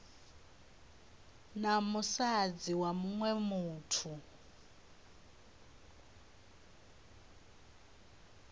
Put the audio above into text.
na musadzi wa muṅwe muthu